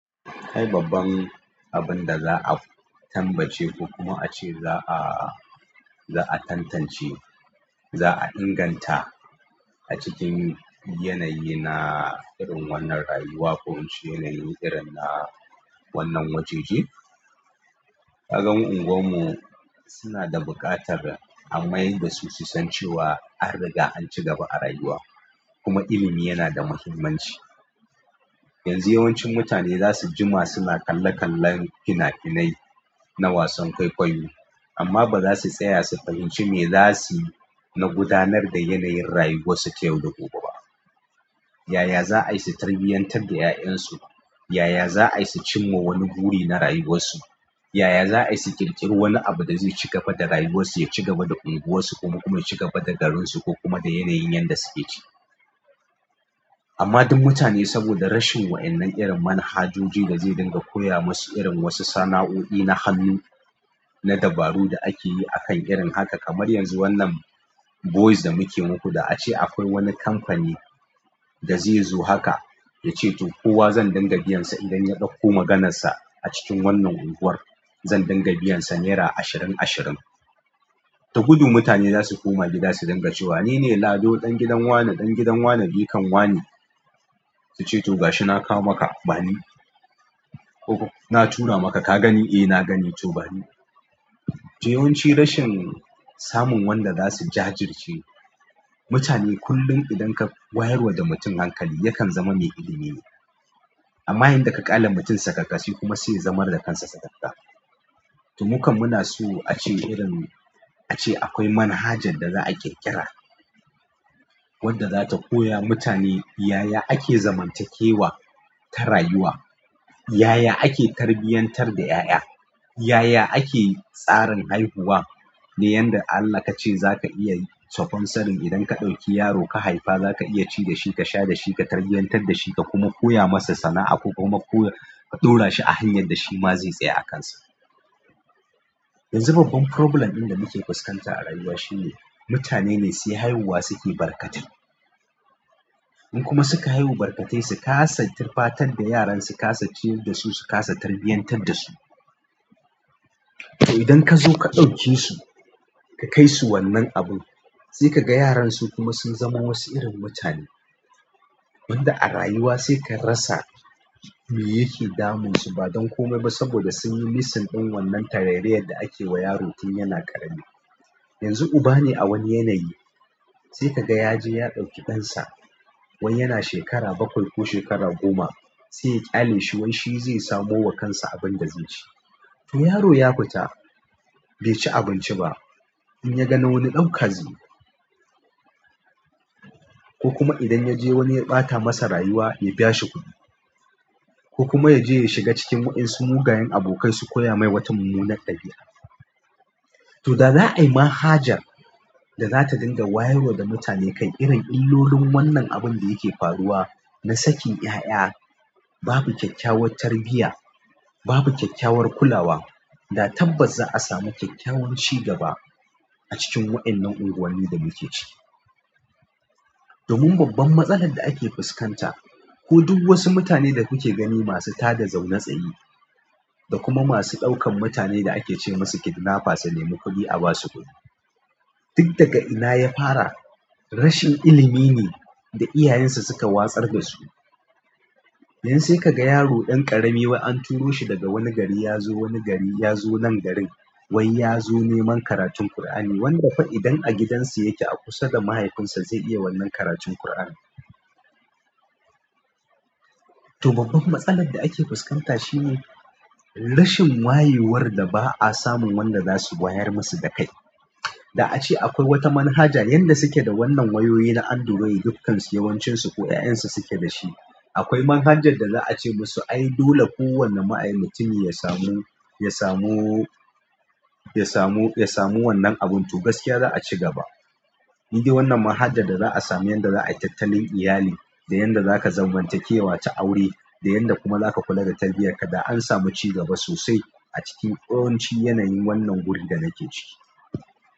Kai babban abun da za'a tambace ko kuma a ce za'a, za'a tantance, za'a inganta a cikin yanayi na irin wannan rayuwa ko inci yanayin irin na wannan wajeje. Kaga mu unguwar mu suna da buƙatar a mai da su susance wa an riga an ci gaba a rayuwa. Kuma ilimi yana da muhimmanci. Yanzu yawancin mutane za su ji ma suna kalle kallen fina finai na wasan kwaikwayo amma ba za su tsaya su fahimci me zasiyi na gudanar da yanayin rayuwarsu ta yau da gobe ba. Yaya za a yi su tarbiyantar da 'ya'yan su? Yaya za'ayi su cin ma wani buri na rayuwarsu? Yaya za'ayi su ƙirƙiri wani abu da zai cigaba da rayuwar su, ya cigaba da unguwar su, kuma kuma ya cigaba da garinsu ko kuma yanayin yanda suke ciki amma duk mutane saboda rashin wa'ƴannan irin manhajoji da zai dinga koya masu irin wasu sana'o'i na hannu na dabaru da ake yi akan irin haka kamar yanzu wannan voice da muke muku da ace akwai wani kamfani da zai zo haka ya ce to kowa zan dinga biyansa idan ya ɗauko maganarsa a cikin wannan unguwar zan dinga biyansa nera ashirin ashirin. Da gudu mutane za su koma gida su dinga cewa nine Lado ɗan gidan wane ɗan gidan wane jikan wane. Su ce to ga shi na kawo maka bani. Ko na tura maka ka gani? Eh na gani to bani. To yawanci rashin samun wanda za su jajirce mutane kullum idan ka wayarwa da mutum hankali yakan zama mai ilimi ne. Amma idan ka ƙyale mutum sakakka shi kuma zai zamar da kansa sakakka. To mukan muna so a ce irin a ce akwai manhajar da za'a ƙirƙira wadda zata koya mutane yaya ake zamantakewa ta rayuwa. Yaya ake tarbiyantar da 'ya'ya? Yaya ake tsarin haihuwa ne? Yanda Allah ka ce za ka iya sponsoring idan ka ɗauki yaro ka haifa za ka iya ci da shi ka sha da shi ka tarbiyantar da shi ka kuma koya masa sana'a ko kuma ka ɗaura shi a hanyar da shi ma zai tsaya a kansa. Yanzu babban problem ɗin muke fuskanta a rayuwa shine, mutane ne sai haihuwa suke barkatai in kuma suka haihuwa barkatai, su kasa tufatar da yaran, su kasa ciyar dasu, su kasa tarbiyyantar dasu to idan kazo ka ɗauke su, ka kaisu wannan abun, sai kaga yaran su kuma sun zama wasu irin mutane, wanda a rayuwa sai ka rasa meyake damunsu, ba dan komai saboda sunyi missing ɗin wannan tarairayar da akewa yaro tun yana ƙarami. Yanzu uba ne a wani yanayi sai ka ga ya je ya ɗauki ɗansa wai yana shekara bakwai ko shekara goma sai ya ƙyale shi wai shi zai samo wa kansa abin da zai ci. To yaro ya futa bai ci abinci ba in ya ga na wani ɗauka zai yi. Ko kuma idan ya je wani ya ɓata masa rayuwa ya biya shi kuɗi. Ko kuma ya je ya shiga cikin wa'ƴansu mugayen abokai su koya mai wata munnnar ɗabi'a. To da za'a yi manhajar da zata dinga wayarwa da mutane kan irin illolin wannan abin da yake faruwa na sakin 'ya'ya babu kyakkyawar tarbiyya babu kyakkyawar kulawa da tabbas za'a samu kyakkyawan cigaba a cikin wa'ƴannan unguwanni da muke ciki. Domin babban matsalar da ake fuskanta ko duk wasu mutane da kuke gani masu tada zaune tsaye da kuma masu ɗaukan mutane da ake ce masu kidnappers su nemi kuɗi a ba su kuɗi. Duk daga ina ya fara? Rashin ilimi ne da iyayensu suka watsar da su. Yanzu sai ka ga yaro ɗan ƙarami wai an turo shi daga wani gari ya zo wani gari ya zo nan garin wai ya zo neman karatun ƙur'ani wanda fa idan a gidansu yake a kusa da mahaifinsa zai iya wannan karatun ƙur'anin. To babban matsalar da ake fuskanta shi ne rashin wayewar da ba'a samu wanda za su wayar masu da kai. Da ace da akwai wata manhaja yanda suke wannan wayoyi na android dukkan su yawancin su ko ƴaƴansu suke dashi. Akwai manhajar da za a ce masu ayi dole kowane ma'ayen mutumi ya samu, ya samu, ya samu, ya samu wannan abun to gaskiya za'a ci gaba. In dai wannan manhajar da za'a sami yanda za'a yi tattalin iyali da yanda za ka zamantakewa ta aure da yanda kuma za ka kula da tarbiyyar ka da an samu cigaba sosai a cikin yawanci yanayin wannan guri da nake ciki.